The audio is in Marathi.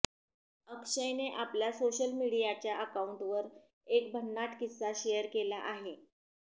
अक्षयने आपल्या सोशल मिडीयाच्या अकाउंटवर एक भन्नाट किस्सा शेअर केला आहे